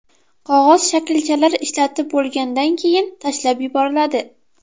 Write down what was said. Qog‘oz shaklchalar ishlatib bo‘lgandan keyin tashlab yuboriladi.